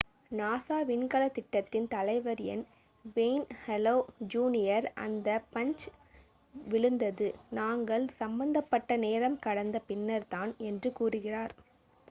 "NASA விண்கலத் திட்டத்தின் தலைவர் என் வேய்ன் ஹலே ஜூனியர் அந்த பஞ்சு விழுந்தது "நாங்கள் சம்பந்தப்பட்ட நேரம் கடந்த பின்னர் தான்" என்று கூறினார்.